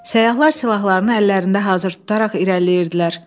Səyyahlar silahlarını əllərində hazır tutaraq irəliləyirdilər.